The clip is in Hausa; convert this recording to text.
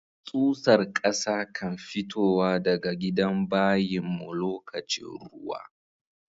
Tsusar kasa kan fitowa daga gidan bayin mu lokacin ruwa.